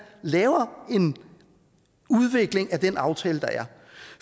laver en udvikling af den aftale der er